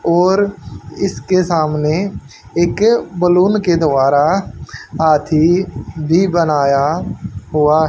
और इसके सामने एक बलून के द्वारा हाथी भी बनाया हुआ--